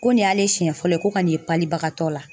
Ko nin y'ale siɲɛ fɔlɔ ye ko ka n'i ye bagatɔ la